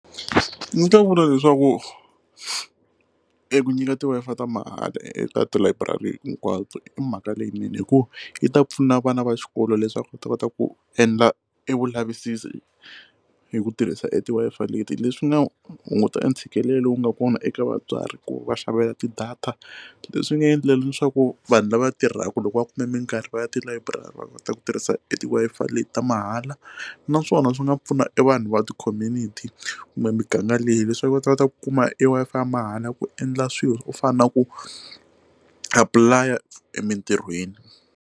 Ndzi ta vula leswaku eku nyika ti Wi-Fi ta mahala eka tilayiburari hinkwato i mhaka leyinene hikuva yi ta pfuna vana va xikolo leswaku va ta kota ku endla e vulavisisi hi ku tirhisa e ti Wi-Fi leti leswi nga hunguta ntshikelelo wu nga kona eka vatswari ku va xavela tidata leswi nga endlela leswaku vanhu lava tirhaka loko va kume minkarhi va ya tilayiburari va kota ku tirhisa ti Wi-Fi leti ta mahala naswona swi nga pfuna e vanhu va ti community kumbe muganga leyi leswaku va ta va ta kuma e Wi-Fi ya mahala ku endla swilo swo fana na ku apply emintirhweni.